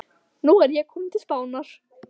Nú er ég kominn til Spánar.